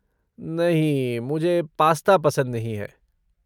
नहीं, मुझे पास्ता पसंद नहीं है।